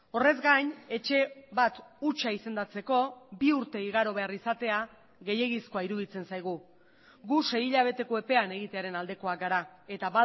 horrez gain etxe bat hutsa izendatzeko bi urte igaro behar izatea gehiegizkoa iruditzen zaigu gu sei hilabeteko epean egitearen aldekoak gara eta